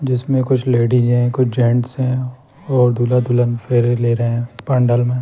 जिसमें कुछ लेडिस है कुछ जेंट्स है और दूल्हा दुल्हन फेरे ले रहे हैं पंडाल में।